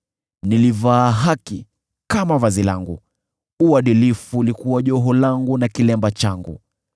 Niliivaa haki kama vazi langu; uadilifu ulikuwa joho langu na kilemba changu.